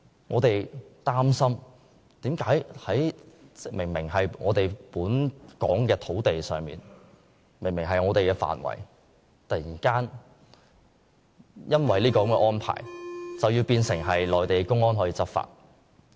我們擔心的是為何明明在香港土地上，明明是香港的範圍，卻突然因這個安排而變成內地公安可在此執法。